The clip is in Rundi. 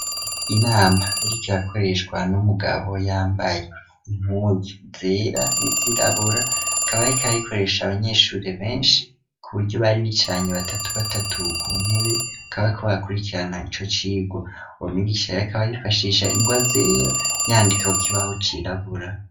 Inama iriko irakoreshwa n'umugabo yambaye inpuzu zera n'izirabura akaba ariko arayikoresha abanyeshure benshi kuburyo bari bicaranye batatu batatu ku ntebe bakaba barakurikirana ico cigwa, uwo mwigisha akaba yifashisha ingwa zera yandika ku kibaho cirabura.